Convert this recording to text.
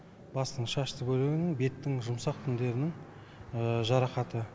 бастың шашты бөлігінің беттің жұмсақ тіндерінің жарақаты